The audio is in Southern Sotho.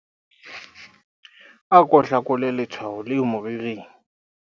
ako hlakole letshwao leo moriring